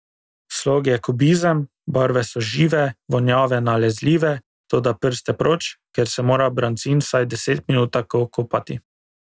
Slog je kubizem, barve so žive, vonjave nalezljive, toda prste proč, ker se mora brancin vsaj deset minut tako kopati.